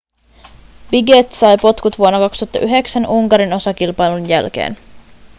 piquet sai potkut vuonna 2009 unkarin osakilpailun jälkeen